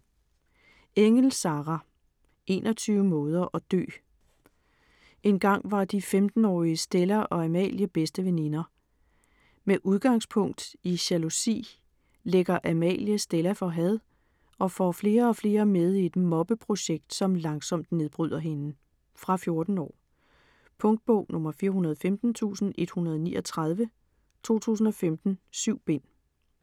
Engell, Sarah: 21 måder at dø Engang var de 15-årige Stella og Amalie bedste veninder. Med udgangspunkt i jalousi lægger Amalie Stella for had og får flere og flere med i et mobbeprojekt, som langsomt nedbryder hende. Fra 14 år. Punktbog 415139 2015. 7 bind.